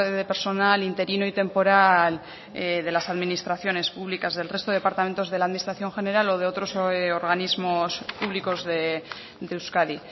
de personal interino y temporal de las administraciones públicas del resto de departamentos de la administración general o de otros organismos públicos de euskadi